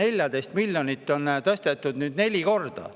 Ühte 14 miljonit on neli korda ümber tõstetud.